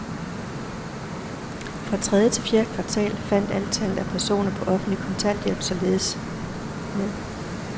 Fra tredje til fjerde kvartal faldt antallet af personer på offentlig kontanthjælp således med .